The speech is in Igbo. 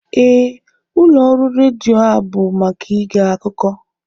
Ee, ụlọ ọrụ redio a bụ maka ịge akụkọ